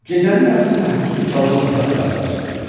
Gecənin yarısı məhbusun qaldığı otağın qapısı açılır.